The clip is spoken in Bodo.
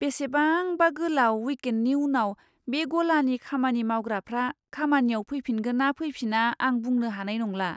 बेसेबांबा गोलाव विकेन्डनि उनाव बे गलानि खामानि मावग्राफ्रा खामानियाव फैफिनगोन ना फैफिना आं बुंनो हानाय नंला।